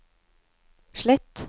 slett